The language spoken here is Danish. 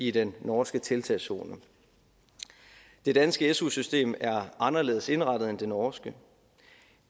i den norske tiltagszone det danske su system er anderledes indrettet end det norske